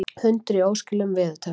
Hundur í óskilum veðurtepptur